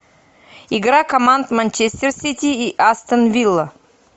игра команд манчестер сити и астон вилла